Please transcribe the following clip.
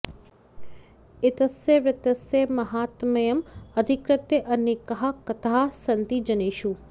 एतस्य व्रतस्य माहात्म्यम् अधिकृत्य अनेकाः कथाः सन्ति जनेषु